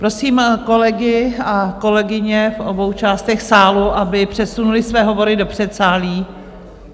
Prosím kolegy a kolegyně v obou částech sálu, aby přesunuli své hovory do předsálí.